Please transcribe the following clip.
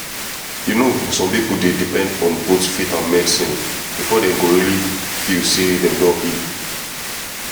you know some people dey depend on both faith and medicine before dem go really feel say dem say dem don heal.